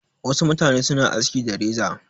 Wasu mutane suna aski da reza.